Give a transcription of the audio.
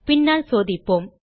பின்னால் சோதிப்போம்